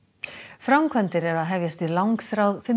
framkvæmdir eru að hefjast við langþráð